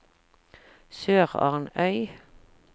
SørarnØy